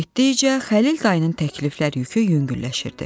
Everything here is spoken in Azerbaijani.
Getdikcə Xəlil dayının təklifləri yükü yüngülləşirdi.